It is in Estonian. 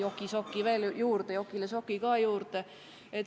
Ma sain nüüd jokile soki ka juurde.